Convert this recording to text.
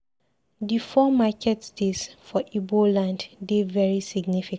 Di four market days for Igbo land dey very significant.